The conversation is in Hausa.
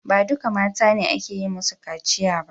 Ba duka mata ne ake yi musu kaciya ba.